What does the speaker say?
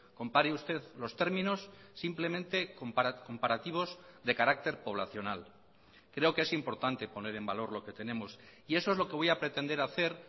compare usted los términos simplemente comparativos de carácter poblacional creo que es importante poner en valor lo que tenemos y eso es lo que voy a pretender hacer